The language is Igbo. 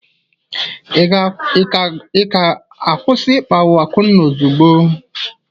Ị ga-akwụsị ịkpagbu Akunna ozugbo!